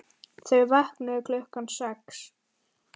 Þau vöknuðu klukkan sex.